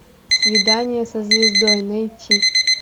свидание со звездой найти